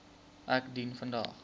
ek dien vandag